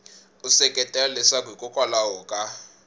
u seketela leswaku hikokwalaho ka